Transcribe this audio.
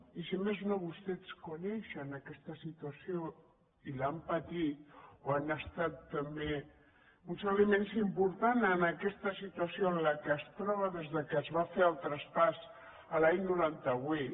i si més no vostès coneixen aquesta situació i l’han patit o han estat tam·bé uns elements importants en aquesta situació en què es troba des que es va fer el traspàs l’any noranta vuit